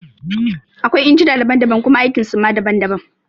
Akwai injina daban daban kuma aikin so ma daban daban